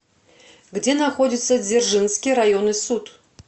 где находится дзержинский районный суд